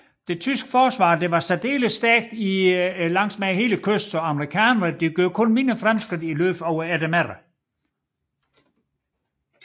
Det tyske forsvar var særdeles stærkt langs hele kysten så amerikanerne gjorde kun mindre fremskridt i løbet af eftermiddagen